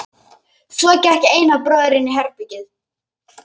Svo gekk Einar bróðir inn í herbergið.